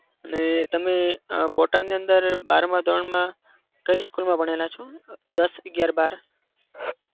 અને તમે અમ બોટાદની અંદર બારમાં ધોરણમાં કઈ school માં ભણેલા છો? અમ દસ અગિયાર બાર?